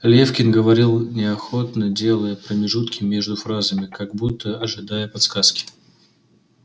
лефкин говорил неохотно делая промежутки между фразами как будто ожидая подсказки